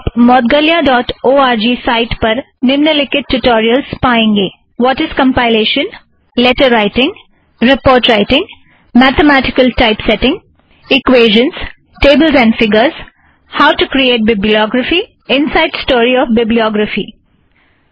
आप Moudgalya dot O R G site पर निम्नलिखित ट्युटोरियलस पाएँगे - what is compilation letter writing report writing mathematical type setting equation tables and figures how to create bibliography inside story of bibliography